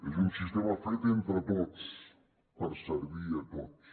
és un sistema fet entre tots per servir a tots